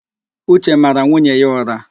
Uche mara nwunye ya ụ̀rá.